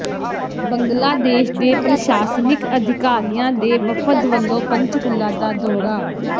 ਬੰਗਲਾਦੇਸ਼ ਦੇ ਪ੍ਰਸ਼ਾਸਨਿਕ ਅਧਿਕਾਰੀਆਂ ਦੇ ਵਫ਼ਦ ਵੱਲੋਂ ਪੰਚਕੂਲਾ ਦਾ ਦੌਰਾ